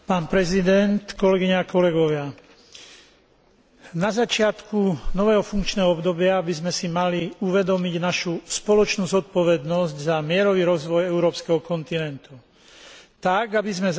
Na začiatku nového funkčného obdobia by sme si mali uvedomiť našu spoločnú zodpovednosť za mierový rozvoj európskeho kontinentu tak, aby sme zabezpečili pokojný a prosperujúci život našich občanov.